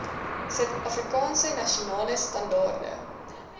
suidafrikaanse nasionale standaarde